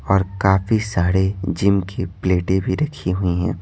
और काफी सारे जिम की प्लेटें भी रखी हुई हैं।